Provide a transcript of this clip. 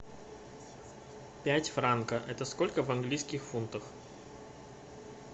пять франка это сколько в английских фунтах